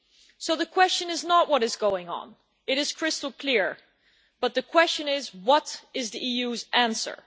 So the question is not what is going on it is crystal clear but the question is what is the EU's answer?